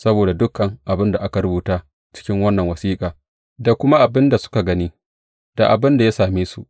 Saboda dukan abin da aka rubuta cikin wannan wasiƙa da kuma abin da suka gani, da abin da ya same su.